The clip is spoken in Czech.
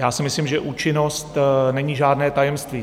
Já si myslím, že účinnost není žádné tajemství.